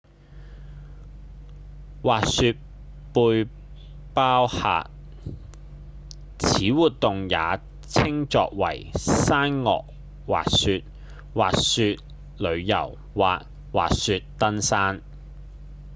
滑雪背包客：此活動也稱作為山岳滑雪﹑滑雪旅遊或滑雪登山